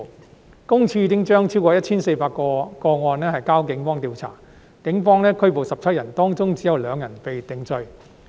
私隱公署已將超過 1,400 多宗個案轉交警方調查，警方共拘捕17人，當中只有2人被定罪。